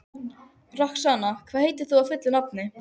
Roxanna, hvað heitir þú fullu nafni?